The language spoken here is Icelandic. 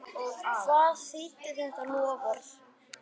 Hvað þýddi þetta loforð?